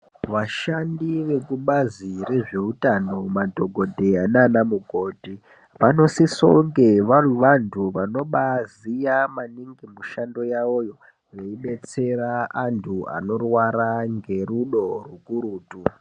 Vashandi vekubazi rezveutano madhokodheya naanamukoti vanosisonge vari vantu vanobaaziya maningi mushando yawoyo veidetsera antu anorwara ngerudo rukurutu.